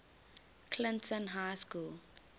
clinton high school